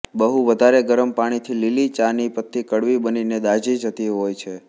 બહુ વધારે ગરમ પાણીથી લીલી ચાની પતી કડવી બનીને દાજી જતી હોય છે